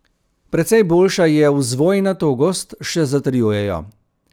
Precej boljša je vzvojna togost, še zatrjujejo.